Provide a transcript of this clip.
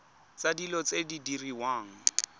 tsa dilo tse di diriwang